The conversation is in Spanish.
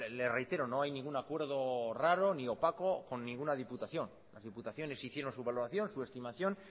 le reitero no hay ningún acuerdo raro ni opaco con ninguna diputación las diputaciones hicieron su valoración su estimación